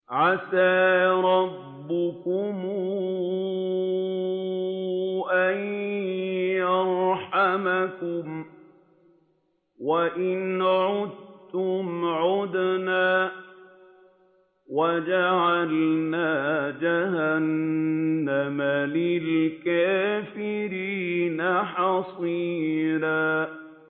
عَسَىٰ رَبُّكُمْ أَن يَرْحَمَكُمْ ۚ وَإِنْ عُدتُّمْ عُدْنَا ۘ وَجَعَلْنَا جَهَنَّمَ لِلْكَافِرِينَ حَصِيرًا